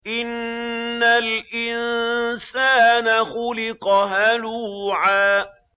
۞ إِنَّ الْإِنسَانَ خُلِقَ هَلُوعًا